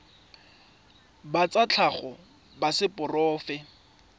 ba tsa tlhago ba seporofe